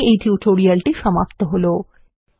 এখানে এই টিউটোরিয়ালটি সমাপ্ত হলো